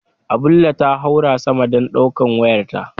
Abulle ta haura sama dan daukar wayarta.